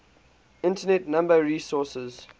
internet number resources